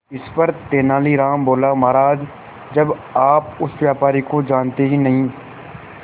इस पर तेनालीराम बोला महाराज जब आप उस व्यापारी को जानते ही नहीं